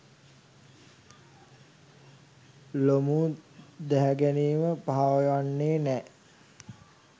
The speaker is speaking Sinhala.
ලොමු දැහැගැනීම පහවයන්නේ නෑ.